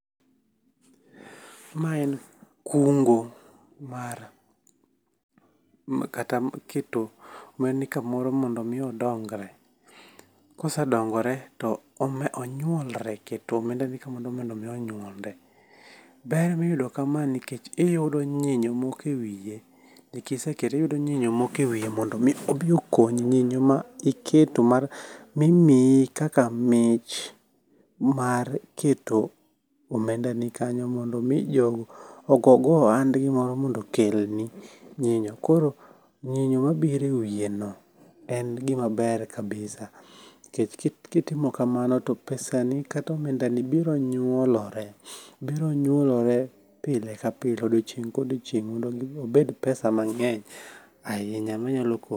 Ma en kungo mar, ma kata miketo, ma ni kamoro mondo mi odongre. Kosedongore to onyuolre keto omenda ni kamoro mondo mi onyuolre. Ber miyudo kama nikech iyudo nyinyo moko e wiye. Ni kisekete iyudo nyinyo moko e wiye mondo mi obi okonyi. Nyinyo ma iketo mar mimii kaka mich mar keto omenda ni kanyo, mondo mi jogo ogo go ohand gi moro mondo okelni nyinyo. Koro nyinyo mabiro e wiye no en gimaber kabisa nikech kitimo kamano to pesa ni kata omenda ni biro nyuolore, biro nyuolore pile ka pile, odiochieng' ka odiochieng' mondo mi obed pesa mang'eny ahinya manyalo konyi.